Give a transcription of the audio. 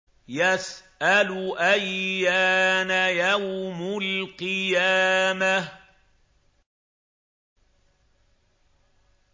يَسْأَلُ أَيَّانَ يَوْمُ الْقِيَامَةِ